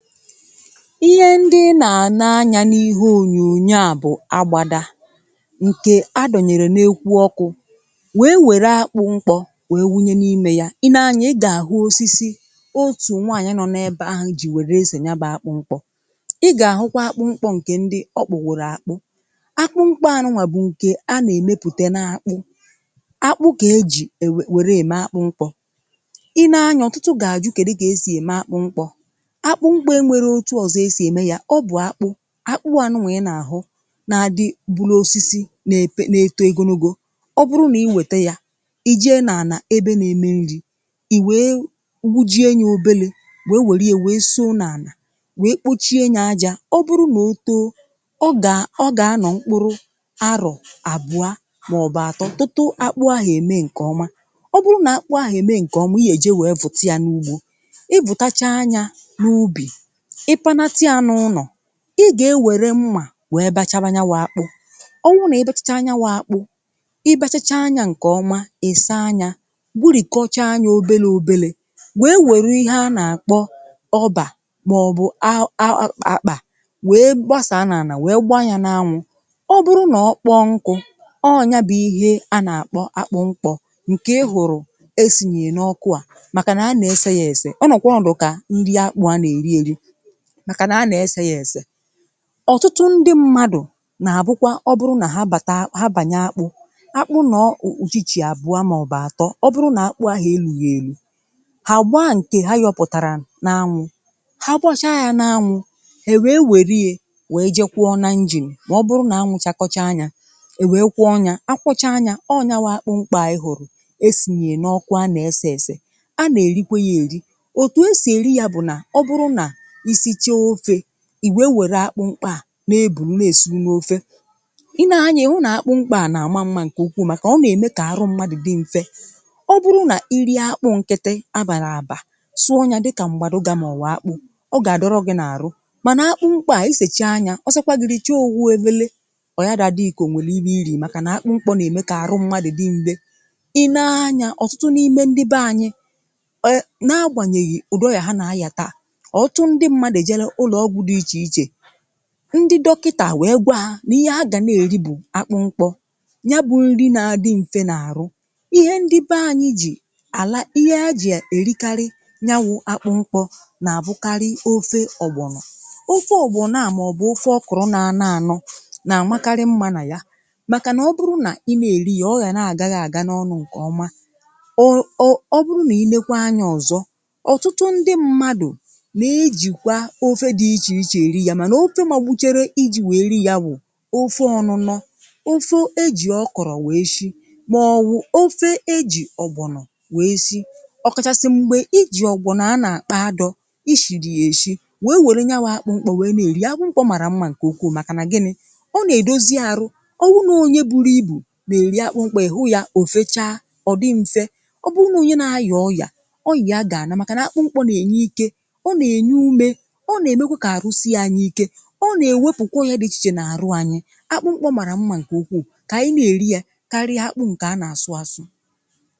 Ihe ndị ị na-ene anya n’ihe ònyònyo à bụ̀ agbada ǹkè adọ̀nyèrè n’ekwu ọkụ wèe wère akpụ mkpọ wèe wunye n’ime ya. Ị nee anya ị gà-àhụ osisi otù nwaànyị̀ nọ n'ebe àhụ ji wère esè ya bụ̀ akpụ mkpọ. Ị gà-àhụkwa akpụ mkpọ ǹkè ndị ọ kpụworo akpụ. Akpụ mkpọ anụnwà bụ̀ ǹkè a nà-èmepùte n’akpụ, akpụ kà ejì e wère ème akpụ mkpọ. Ị nee anya ọ̀tụtụ gà-àjụ kèdu kà esì ème akpụ mkpọ, akpụ mkpọ enwero otu ọ̀zọ e sì ème ya ọ bụ̀ akpụ akpụ ànụnwa i nà-àhụ na-adị bụlụ osisi na-epe na-eto ogologo. Ọ bụrụ nà i wète ya i jee nà-ànà ebe na-eme nri̇ ì wèe gbujie nya obele wèe wère ya wèe súo n’ànà wèe kpochie nya aja ọ bụrụ nà ó tóó ọ gà à ọ gà-anọ̀ mkpụrụ arọ̀ àbụa maọ̀bụ̀ àtọ tutu akpụ ahụ̀ ème ṅ̀ke ọma. Ọ bụrụ nà akpụ ahụ̀ ème ṅ̀kè ọma ihe eje wèe vụ̀ta ya n’ugbo, ị vụtachaa nya n’ubì ị pánátá ya n’ụlọ̀ ị gà-ewère mmà wèe bachaba nyawụ akpụ. Ọ wụ nà ị bachachaa nyawụ akpụ, ị bachachaa nya ǹkè ọma, ị̀ saa nya gburìkọchaa nya obele obele wèe wèrụ ihe a nà-àkpọ ọbà màọ̀bụ̀ a um um akpà wèe gbasà nà-ànà wèe gbaa ya n’anwụ. Ọ bụrụ nà ọ kpọọ nkụ, ọọ̀ ya bụ ihe a nà-àkpọ akpụ mkpọ ǹkè ị hụrụ̀ esìnyè n’ọkụ à màkà nà a nà-ese ya èse ọ nọ̀kwà ọnọdụ ka nri akpụ a nà-èri èri màkà nà a nà-ese ya èse. Ọtụtụ ndị mmadụ̀ nà-àbụkwa ọ bụrụ nà ha bàta, ha bànya akpụ̇ akpụ nọ̀ um ùchíchì abụọ màọbụ̀ àtọ ọ bụrụ nà akpụ ahụ̀ elughị èlu hà gbaa nkè ha yọpụ̀tàrà n’anwụ ha gbachaa ya n’anwụ ha è wèe wère ya wèe je kwọọ n'injin mà ọ bụrụ nà anwụ chakọchaa nya è wèe kwọọ ya a kwọcha nya akwọcha nya. Ọọ nyawa bụ akpụ mkpọ a ị hụ̀rụ̀ esìnyè n’ọkụ a nà-ese èse. À nà-èrikwe ya èri òtù esì èri ya bụ̀ nà ọ bụrụ nà ì sịchaa ofe wèe wère akpụ mkpọ à nà-ebùru na-èsuru n’ofe. Ị nee anya ịhụ nà akpụ mkpọ à nà-àma mma ǹkè ukwuu màkà ọ nà-ème kà arụ mmadụ̀ dị̇ mfe. Ọ bụrụ nà ị rie akpụ nkịtị̇ a bàrà àbà sụọ ya dịkà m̀gbàdụ̀gà mọ̀wụ̀ akpụ ọ gà-àdọrọ gị n’àrụ, mànà akpụ mkpọ à isècha nya ọ sọkwa gị̇ rị̇chee ofu efele ọ̀ yarọ a dị gị kà ò nwèrè ihe ị rii̇ màkà nà akpụ mkpọ nà-ème kà arụ mmadụ̀ dị mfe. Ị nee anya ọ̀tụtụ n’ime ndị be anyị̇ um na-agbanyeghi udị ọya ha na-aya taa, ndị mmadụ ejele ụlọ ọgwụ dị iche iche, ndị dọkịtà wèe gwa ha n’ihe agà na-èri bù akpụ mkpọ, nya bụ nri na-adị̇ mfe na-àrụ. Ihe ndị be anyị̇ jì àla ihe ha jị̇ èrikarị yawụ akpụ mkpọ na-àbụkarị ofe ọgbọ̀nọ̀. Ofe ọgbọ̀nọ̀ a maọ̀bụ̀ ofe ọkụrụ na-anọ ànọ na-àmakarị mma nà ya màkànà ọ bụrụ nà ị na-èri ya ọ gà na-àga gị àga n’ọnụ ǹkè ọma. O o ọ bụrụ nà ilekwa anya ọ̀zọ ọ̀tụtụ ndị mmadụ̀ na-ejikwa ofe dị iche iche eri ya màna ofe màgbuchere iji wèe ri ya bụ̀ ofe ọ̀nụnọ; ofe ejì ọkọ̀rọ̀ wee shi màọ̀wụ̀ ofe ejì ọ̀gbọ̀nọ̀ wee si, ọ̀kachasị m̀gbè iji ọ̀gbọ̀nọ̀ a nà-àkpọ ádọ ishiri ya èshi wee wère nyawụ akpụ mkpọ wee nà-èri ya. Akpụ mkpọ màrà mma ǹkè ukwuu màkà nà gịnị̇, ọ nà-èdozi arụ. Ọ wụrụ nọọ onye buru ibù nà-èri akpụ mkpọ ị̀hụ ya ò fechaa, ọ̀ dị mfe. Ọ bụrụ nọọ onye na-ayà ọyà, ọya ya gà-ànà màkà nà akpụ mkpọ nà ènye ike, ọ nà-ènye ume, ọ na-emekwa ka arụ sie anyị ike, ọ na-ewefù kàwa ọya dị ichè ichè nà-àrụ anyị. Akpụ mkpọ màrà mma ǹkè ụkwụ kà ànyị na-èri ya karịa akpụ ǹkè a nà-àsụ àsụ.